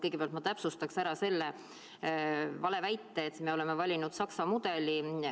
Kõigepealt ma täpsustaksin ära selle valeväite, et me oleme valinud Saksamaa mudeli.